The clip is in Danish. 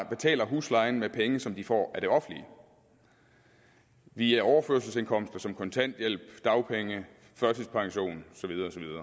betaler huslejen med penge som de får af det offentlige via overførselsindkomster som kontanthjælp dagpenge førtidspension